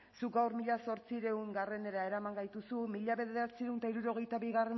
zuk gaur mila zortziehunera eraman gaituzu mila bederatziehun eta hirurogeita bigarrena